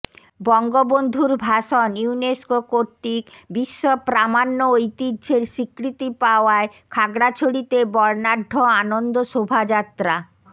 বঙ্গবন্ধুর ভাষণ ইউনেস্কো কর্তৃক বিশ্ব প্রামাণ্য ঐতিহ্যের স্বীকৃতি পাওয়ায় খাগড়াছড়িতে বর্ণাঢ্য আনন্দ শোভা যাত্রা